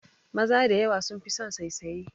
Maza da yawa sun fi son saisaye